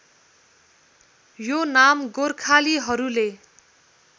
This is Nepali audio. यो नाम गोर्खालीहरूले